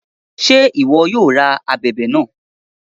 Ṣe iwọ yóò rá ábèbè náà?